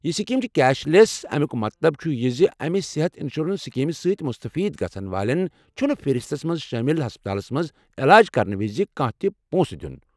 یہ سکیٖم چھِ cashless, امیُوک مطلب چھُ ز امہ صحت انشورنس سکیٖم سۭتۍ مستفید گژھن والٮ۪ن چُھنہٕ فہرستس منٛز شٲمل ہسپتالس منٛز علاج کرنہٕ وز پونٛسہٕ دینٕچ ضٔروٗرت۔